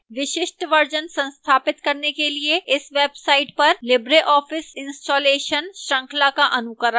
विशिष्ट version संस्थापित करने के लिए इस website पर libreoffice installation श्रृंखला का अनुकरण करें